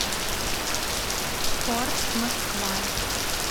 корж москва